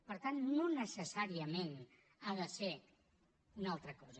per tant no necessàriament ha de ser una altra cosa